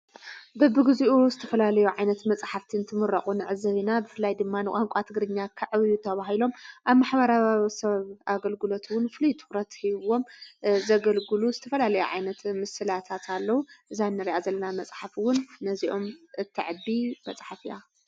በብግዜኡ ዝተፈላለዩ ዓይነት መጽሕፍቲን ትምረቑ ንዕዘብና ብፍላይ ድማን ቛንቋ ትግርኛ ኽዕብዩ ተብሂሎም ኣብ ማሕበራዊ ሰብ ኣገልግሎትውን ፍልይትዉረትሕዎም ዘገልግሉ ዝተፈላለዩ ዓይነት ምስላታትለዉ እዛነርያ ዘለና መጽሓፍውን ነዚኦም እትዕቢ መጽሓፍእያ።